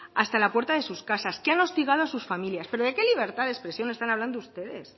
hasta la puerta de sus casas que han hostigado a sus familias pero de qué libertades de expresión están hablando ustedes